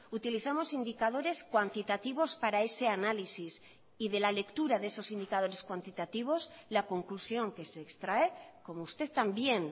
utilizamos indicadores cuantitativos para ese análisis y de la lectura de esos indicadores cuantitativos la conclusión que se extrae como usted también